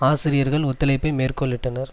ஆசிரியர்கள் ஒத்துழைப்பை மேற்கோளிட்டனர்